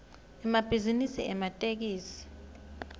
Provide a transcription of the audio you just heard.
emabhizinisi ematekisi